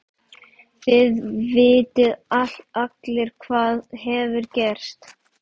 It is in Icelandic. Þið vitið allir hvað hefur gerst.